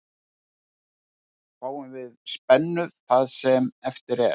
Fáum við spennu það sem eftir er.